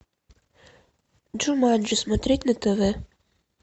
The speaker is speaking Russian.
джуманджи смотреть на тв